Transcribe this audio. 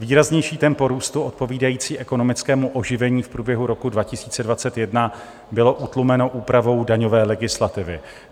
Výraznější tempo růstu odpovídající ekonomickému oživení v průběhu roku 2021 bylo utlumeno úpravou daňové legislativy.